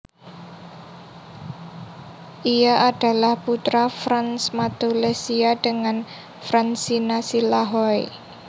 Ia adalah putra Frans Matulessia dengan Fransina Silahoi